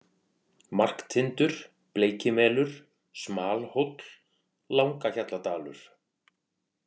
Marktindur, Bleikimelur, Smalhóll, Langahjalladalur